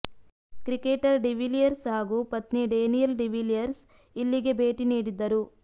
cricketer de Villiers ಹಾಗೂ ಪತ್ನಿ Danielle de Villiers ಇಲ್ಲಿಗೆ ಭೇಟಿ ನೀಡಿದ್ದರು